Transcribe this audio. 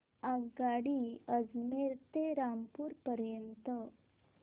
आगगाडी अजमेर ते रामपूर पर्यंत